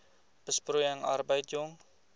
besproeiing arbeid jong